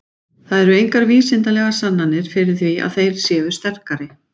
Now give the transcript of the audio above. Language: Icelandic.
Það eru engar vísindalegar sannanir fyrir því að þeir séu sterkari.